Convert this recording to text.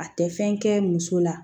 A tɛ fɛn kɛ muso la